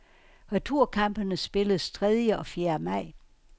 Returkampene spilles tredje og fjerde maj.